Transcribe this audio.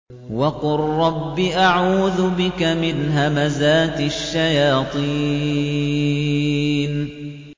وَقُل رَّبِّ أَعُوذُ بِكَ مِنْ هَمَزَاتِ الشَّيَاطِينِ